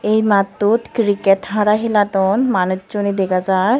ey mattot cricket hara heladon manucchuney degajai.